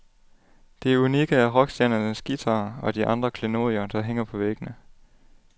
Det unikke er rockstjernernes guitarer og de andre klenodier, der hænger på væggene.